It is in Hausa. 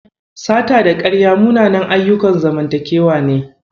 Sata da ƙarya munanan ayyukan zamantakewa ne.